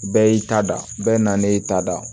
Bɛɛ y'i ta da bɛɛ nanen y'i ta da